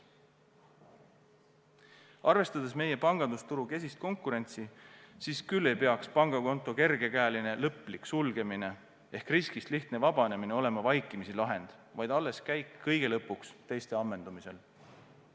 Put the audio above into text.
Arvestades meie pangandusturu kesist konkurentsi, ei peaks pangakonto kergekäeline lõplik sulgemine ehk riskist lihtne vabanemine olema vaikimisi lahend, vaid alles käik kõige lõpuks, teiste ammendumisel.